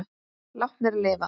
Látnir lifa